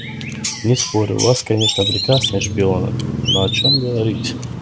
не спорю у вас конечно прекрасные шпионы но о чем говорить